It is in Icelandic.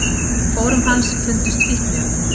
Í fórum hans fundust fíkniefni